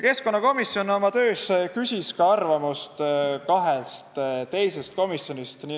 Keskkonnakomisjon küsis arvamust kahest teisest komisjonist.